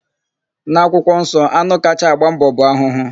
N'akwụkwọnsọ, anụ kacha agba mbọ bụ ahụhụ.